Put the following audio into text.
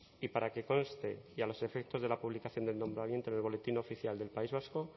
y para que conste y a los efectos de la publicación del nombramiento en el boletín oficial del país vasco